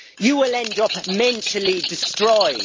you will end up mentally destroyed.